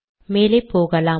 மேலே போகலாம்